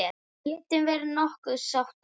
Við getum verið nokkuð sáttar.